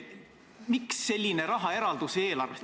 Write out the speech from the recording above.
Miks selline rahaeraldis eelarvest?